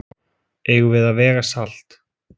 Eigum við að vega salt?